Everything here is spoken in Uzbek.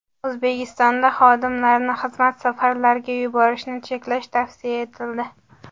O‘zbekistonda xodimlarni xizmat safarlariga yuborishni cheklash tavsiya etildi.